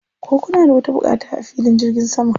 Ko kuna da wata buƙata a filin jirgin saman?